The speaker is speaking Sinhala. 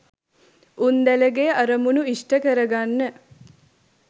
උන්දැලගේ අරමුණු ඉෂ්ට කර ගන්න